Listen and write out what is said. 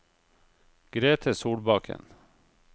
Grete Solbakken